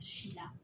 Si la